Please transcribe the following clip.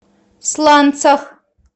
сланцах